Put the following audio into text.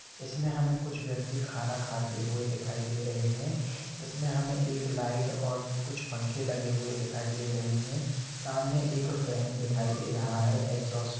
इसमें हमे कुछ व्यक्ति खाना खते हुए दिखाई दे रहे है इस में हमे लाईट और कुछ पंखे लगे हुए दिखाई दे रहे है सामने एक फैन दिखाई दे रहा है एकजोसट--